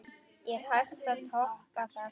Er hægt að toppa það?